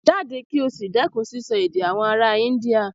Jáde kí o sì dẹ́kun sísọ èdè àwọn ará India.